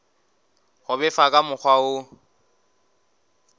go befa ka mokgwa wo